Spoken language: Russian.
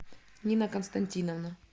нина константиновна